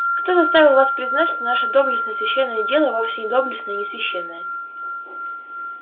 кто заставил вас признать что наше доблестное священное дело вовсе не доблестное и не священное